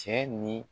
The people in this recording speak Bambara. Cɛ ni